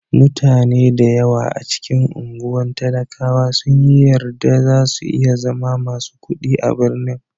Mutane da yawa a cikin anguwan talakawa sun yi yarda za su iya zama masu kuɗi a birnin.